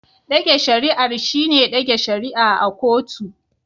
Dage shari'ar shine dage shari'a a kotu.